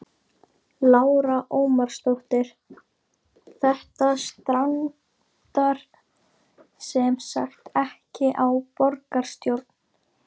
Lára Ómarsdóttir: Þetta strandar semsagt ekki á borgarstjórn?